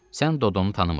Sən Dodunu tanımırsan.